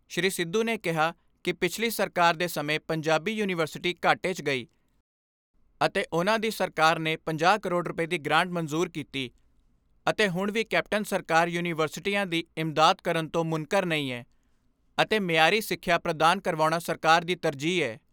ਸ੍ਰੀ ਸਿੱਧੂ ਨੇ ਕਿਹਾ ਕਿ ਪਿਛਲੀ ਸਰਕਾਰ ਦੇ ਸਮੇਂ ਪੰਜਾਬੀ ਯੂਨੀਵਰਸਿਟੀ ਘਾਟੇ 'ਚ ਗਈ ਅਤੇ ਉਨ੍ਹਾਂ ਦੀ ਸਰਕਾਰ ਨੇ ਪੰਜਾਹ ਕਰੋੜ ਰੁਪਏ ਦੀ ਗ੍ਰਾਂਟ ਮਨਜ਼ੂਰ ਕੀਤੀ ਅਤੇ ਹੁਣ ਵੀ ਕੈਪਟਨ ਸਰਕਾਰ ਯੂਨੀਵਰਸਿਟੀਆਂ ਦੀ ਇਮਦਾਦ ਕਰਨ ਤੋਂ ਮੁਨਕਰ ਨਹੀਂ ਏ ਅਤੇ ਮਿਆਰੀ ਸਿੱਖਿਆ ਪ੍ਰਦਾਨ ਕਰਵਾਉਣਾ ਸਰਕਾਰ ਦੀ ਤਰਜੀਹ ਏ।